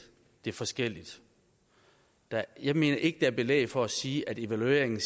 det forskelligt jeg jeg mener ikke er belæg for at sige at evalueringen